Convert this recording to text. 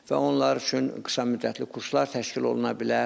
Və onlar üçün qısa müddətli kurslar təşkil oluna bilər.